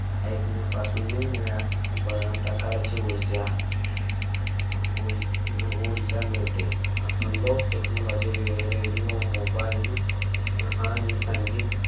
ऐकल्यापासून निरनिराळ्या प्रकारची ऊर्जा ऊर्जा मिळते लोक technologyradiomobile आणि संगीत